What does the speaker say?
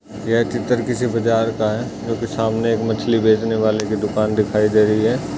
यह चित्र किसी बाजार का है जो की सामने एक मछली बेचने वाले की दुकान दिखाई दे रही है।